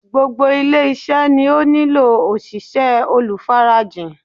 Gbogbo ilé-iṣẹ́ ni ó nílò òṣìṣẹ́ olùfarajìn.